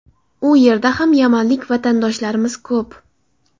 U yerda ham yamanlik vatandoshlarimiz ko‘p.